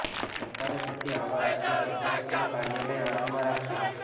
સરકારે તેથી આવા રાષ્ટ્રીય કોર્પોરેશનનું કાર્યાલય આણંદમાં રાખ્યું